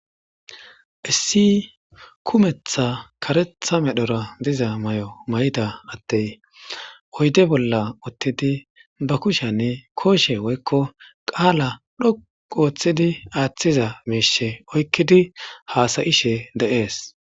Issi kumeththa kareththa medhdhora diza mayo mayidda adeyi oyidde bolla uttidi baa kushshenni koshshe woyikko qala dhoqqu oththidi aththizza mishshe oyikkidi hasayishshe de'ees.